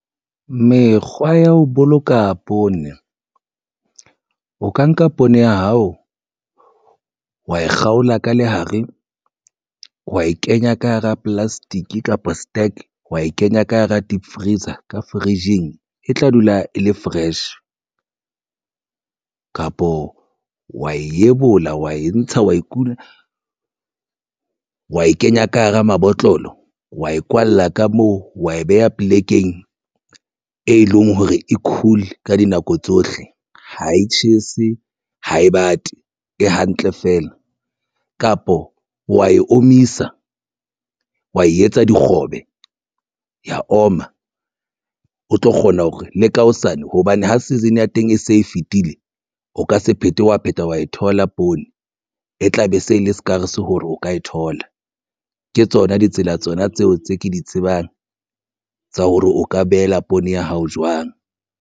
Mekgwa ya ho boloka poone o ka nka poone ya hao wa e kgaola ka lehare wa e kenya ka hara plastic kapa stuck wa e kenya ka hara deep freezer ka fridge-ing e tla dula e le fresh kapo wa e ebola wa e ntsha wa kula wa e kenya ka hara mabotlolo, wa e kwalla ka moo wa e beha polekeng e leng hore e cool ka dinako tsohle e ha e tjhese ha e bate e hantle feela, kapo wa e omisa wa e etsa dikgobe ya oma o tlo kgona hore le ka hosane hobane ho season ya teng e se e fetile, o ka se phethe wa pheta wa e thola poone e tla be se le skaars hore o ka e thola. Ke tsona ditsela tsona tseo tse ke di tsebang tsa hore o ka behela poone ya hao jwang.